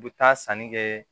U bɛ taa sanni kɛ